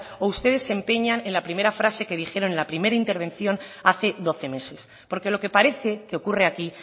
o ustedes se empeñan en la primera frase que dijeron en la primera intervención hace doce meses porque lo que parece que ocurre aquí